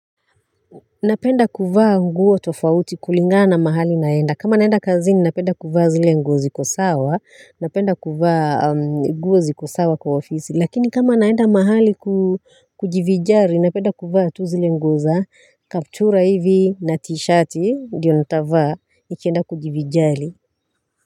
Napenda kuvaa nguo tofauti kulingana mahali naenda. Kama naenda kazini napenda kuvaa zile nguo ziko sawa. Napenda kuvaa nguo ziko sawa kwa ofisi. Lakini kama naenda mahali kujivinjari napenda kuvaa tu zile nguo za. Kaptura hivi na t-shirti ndiyo nitavaa nikienda kujivinjari.